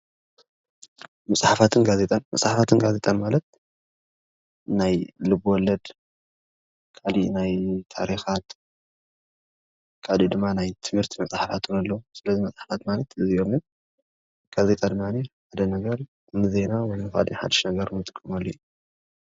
መፀሓፍት ጋዜጣን መፀሓፍት ጋዜጣን ማለት ናይ ልብ ወለደ ካሊእ ናይ ታርካት ካሊእ ድማ ናይ ትምህርት መፅሓፍቲ እዉን ኣሎ ሰለዚ መፃሐፋት ማለት አዚኦሞ እዮሞ፡፡ ጋዜጣ ድማኒ ንዜና ወይ ንካሊእ ሓደሹ ነገረ እንጥቀመሉ አዩ፡፡